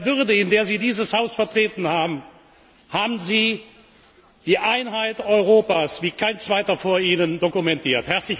In der Würde, in der Sie dieses Haus vertreten haben, haben Sie die Einheit Europas wie kein Zweiter vor Ihnen dokumentiert.